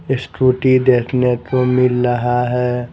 Scooty देखने को मिल रहा है ।